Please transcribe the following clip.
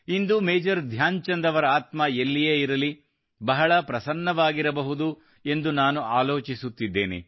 ಇಂದು major Dhyan Chand ಅವರ ಆತ್ಮ ಎಲ್ಲಿಯೇ ಇರಲಿ ಬಹಳ ಪ್ರಸನ್ನವಾಗಿರಬಹುದು ಎಂದು ನಾನು ಆಲೋಚಿಸುತ್ತಿದ್ದೇನೆ